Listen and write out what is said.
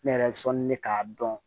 Ne yɛrɛ bɛ sɔli ne k'a dɔn